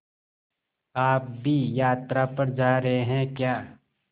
आप भी यात्रा पर जा रहे हैं क्या